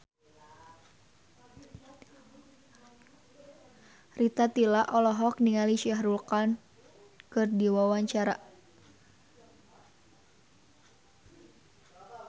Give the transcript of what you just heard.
Rita Tila olohok ningali Shah Rukh Khan keur diwawancara